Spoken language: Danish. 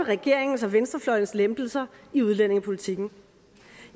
regeringens og venstrefløjens lempelser i udlændingepolitikken